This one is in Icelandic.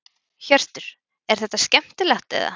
Hjörtur: Er þetta skemmtilegt eða?